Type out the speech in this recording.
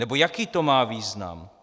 Nebo jaký to má význam?